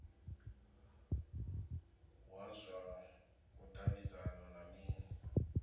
wa zwa vhudavhidzano ndi mini